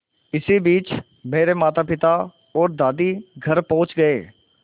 इसी बीच मेरे मातापिता और दादी घर पहुँच गए